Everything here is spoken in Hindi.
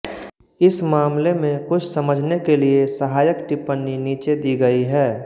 इस मामले में कुछ समझने ले लिए सहायक टिपण्णी नीचे दी गयी है